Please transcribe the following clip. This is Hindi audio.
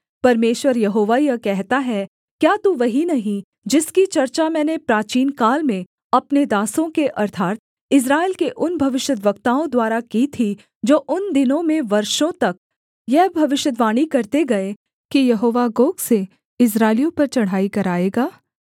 परमेश्वर यहोवा यह कहता है क्या तू वही नहीं जिसकी चर्चा मैंने प्राचीनकाल में अपने दासों के अर्थात् इस्राएल के उन भविष्यद्वक्ताओं द्वारा की थी जो उन दिनों में वर्षों तक यह भविष्यद्वाणी करते गए कि यहोवा गोग से इस्राएलियों पर चढ़ाई कराएगा